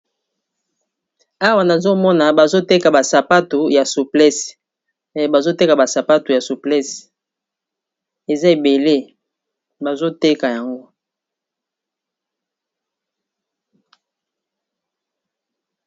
Awa nazomona bazoteka ba sapatu ya souplese eza ebele bazoteka yango.